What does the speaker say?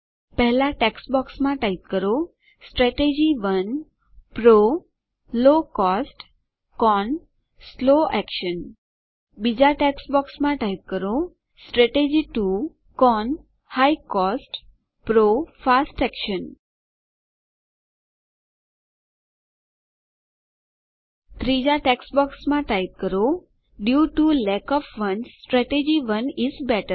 પહેલાં ટેક્સ્ટ બોક્સમાં ટાઈપ કરો strategy 1 PRO low cost CON slow action બીજાં ટેક્સ્ટ બોક્સમાં ટાઈપ કરો strategy 2 CON high cost PRO fast action ત્રીજાં ટેક્સ્ટ બોક્સમાં ટાઈપ કરો due to lack of funds strategy 1 is better